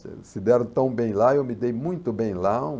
Se se deram tão bem lá, eu me dei muito bem lá.